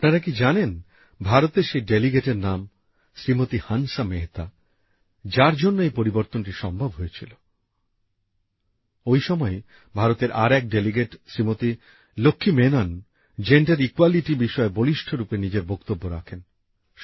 আপনারা কি জানেন ভারতের সেই ডেলিগেটের নাম শ্রীমতি হান্সা মেহতা যার জন্য এই পরিবর্তনটি সম্ভব হয়েছিল ঐ সময়েই ভারতের আরেক ডেলিগেট শ্রীমতি লক্ষ্মী মেনন লিঙ্গ সাম্যের বিষয়ে বলিষ্ঠ ভাবে নিজের বক্তব্য রাখেন